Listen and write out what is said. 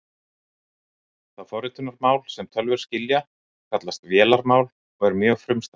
Það forritunarmál sem tölvur skilja kallast vélarmál og er mjög frumstætt.